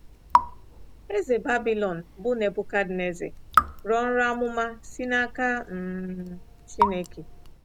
Eze Babilọn bụ́ Nebuchadnezzar rọọ nrọ amụma si n'aka um Chineke.